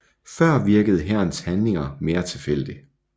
Før virkede hærens handlinger mere tilfældig